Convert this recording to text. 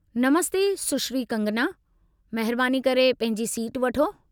नमस्ते, सुश्री कंगना! महिरबानी करे पंहिंजी सीट वठो।